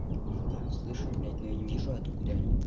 да слышу блять но я не вижу откуда они